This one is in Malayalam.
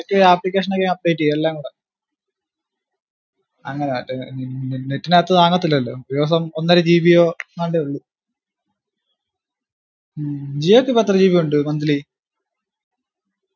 എടക് ഈ application ഒക്കെ update ചെയ്യു എല്ലാം കൂടെ അങ്ങന ഏർ ഉം net ഇന്റകത് കാണതില്ലലോ. ഉപയോഗം ഒന്നര gb. ഓ എങ്ങാണ്ടെ ഉള്ളു